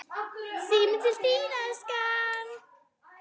Síminn til þín, elskan!